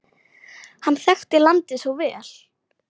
Hann þekkti landið svo vel.